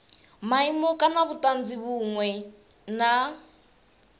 maimo kana vhutanzi vhunwe na